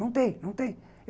Não tem, não tem.